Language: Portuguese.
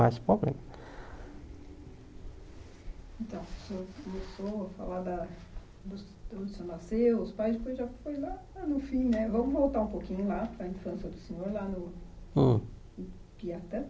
mais problema Então o senhor começou falar da vamos voltar um pouquinho lá para a infância do senhor, lá no Hum no Piatã.